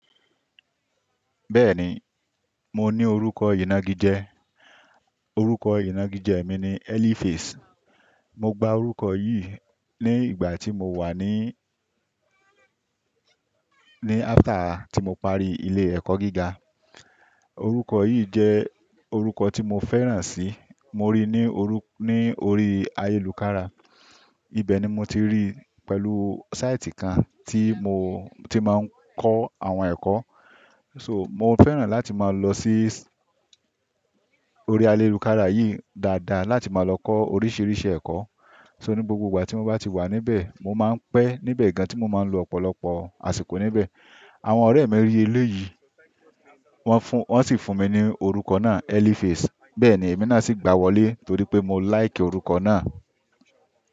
Bẹ́ẹ̀ni, mo ní orúkọ ìnagijẹ, orúkọ ìnagijẹ mi ni Elifis. Mo gba orúkọ yìí ní ìgbà tí mo wà ní, ní after tí mo parí ilé ẹ̀kọ́ gíga. Orúkọ yìí jẹ́ orúkọ tí mo fẹ́ràn sì. Mo rí i ní, ní orí ayélùjára. Ibẹ̀ ni mo ti rí i pẹ̀lú sáìtì kan tí mo ti máa ń kọ́ àwọn ẹ̀kọ́. So, mo fẹ́ràn láti máa lọ sí orí ayélùjára yìí dáadáa láti máa lọ kọ́ oríṣiríṣi ẹ̀kọ́. So ní gbogbo ìgbà tí mo bá ti wà níbẹ̀, mo máa ń pẹ́ níbẹ̀ gan tí mo máa ń lo ọ̀pọ̀lọpọ̀ àsìkò níbẹ̀. Àwọn ọ̀rẹ́ mi rí eléyìí, wọ́n fún, wọ́n sì fún mi ní orúkọ náà Elifis. Bẹ́ẹ̀ ni èmi náà sì gbà wọlé torí pé mo like orúkọ náà.